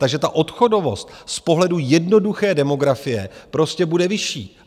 Takže ta odchodovost z pohledu jednoduché demografie prostě bude vyšší.